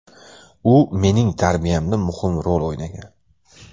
U mening tarbiyamda muhim rol o‘ynagan.